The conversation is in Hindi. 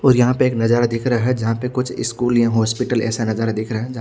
और यहां पे एक नजारा दिख रहा है जहां पे कुछ स्कूल या हॉस्पिटल ऐसा नजारा दिख रहा है जहा--